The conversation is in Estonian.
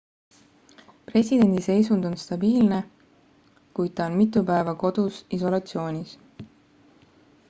presidendi seisund on stabiilne kuid ta on mitu päeva kodus isolatsioonis